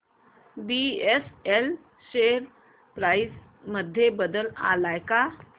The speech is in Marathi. बीएसएल शेअर प्राइस मध्ये बदल आलाय का